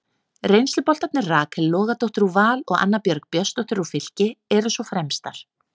Reynsluboltarnir Rakel Logadóttir úr Val og Anna Björg Björnsdóttir úr Fylki eru svo fremstar.